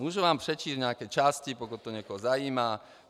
Můžu vám přečíst nějaké části, pokud to někoho zajímá.